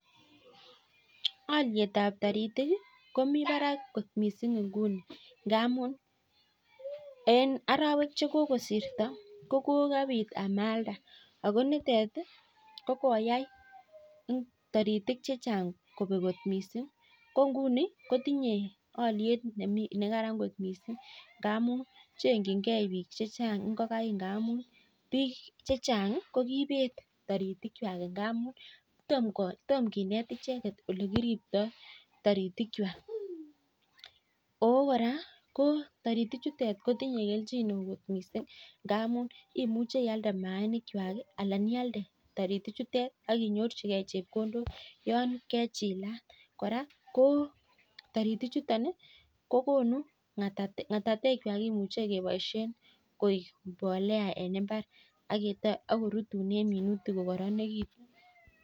Olietab toritik komi barak kot mising nguni ngamun arawek chekokosirto ko kokabit amalda. Ako nitet kokoyai toritik chechang kobek kot mising. Ko nguni kotinyei oliet ne karan kot mising. Ngamun chengchingei biik checha'g ngokaik ndamun biik chechan'g ko kiibet toritikwai. Ngamun tom kinet icheket ole kiriptoi toritikwai. Ako kora ko toritichutok ko tinyei kelchin neo kot mising ndamun imuche ialde maainik chwai anan ialde toritichutok ak inyorchikei chepkondok yon kechilat. Ako kora toritichutok kemuchei kebpishe ng'atatekwai en mbar akorutune minutik kokoranitu.